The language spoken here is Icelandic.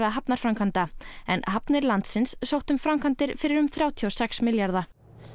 hafnarframkvæmda en hafnir landsins sóttu um framkvæmdir fyrir um þrjátíu og sex milljarða